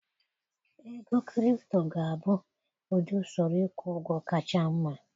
Ego kripto ga-abụ ụdị usoro ịkwụ ụgwọ kacha mma.